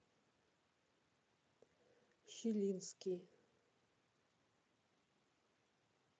щелинский